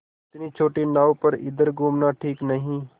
इतनी छोटी नाव पर इधर घूमना ठीक नहीं